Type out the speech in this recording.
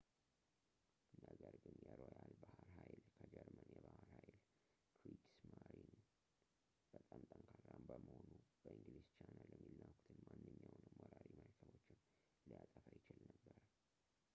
ነገር ግን የሮያል ባሕር ኃይል ከጀርመን የባሕር ኃይል ክሪግስማሪን” በጣም ጠንካራ በመሆኑ በእንግሊዝ ቻናል የሚላኩትን ማንኛውንም ወራሪ መርከቦችን ሊያጠፋ ይችል ነበር